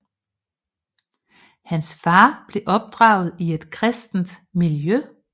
Hans far blev opdraget i et kristent miljø